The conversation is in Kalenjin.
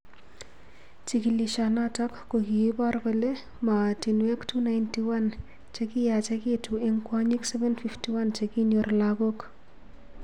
Chigilishonotok kokiipor kole mootinwek 291 chekiyachekitu eng kwonyik 751 chekinyoor lagok